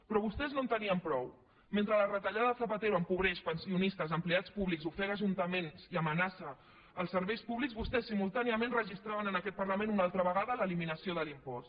però vostès no en tenien prou mentre la retallada de zapatero empobreix pensionistes empleats públics ofega ajuntaments i amenaça els serveis públics vostès simultàniament registraven en aquest parlament una altra vegada l’eliminació de l’impost